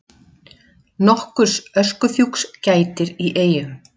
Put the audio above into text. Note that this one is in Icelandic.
Nokkurs öskufjúks gætir í Eyjum